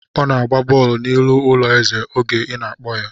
Ọ na-gba bọọlụ n'ihu ụlọ ezè oge ị na-akpọ ya.